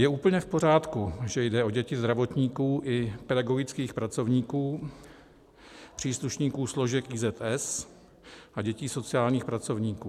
Je úplně v pořádku, že jde o děti zdravotníků i pedagogických pracovníků, příslušníků složek IZS a dětí sociálních pracovníků.